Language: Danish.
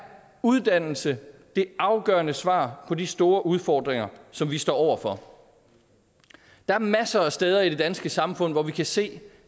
uddannelse det afgørende svar på de store udfordringer som vi står over for der er masser af steder i det danske samfund hvor vi kan se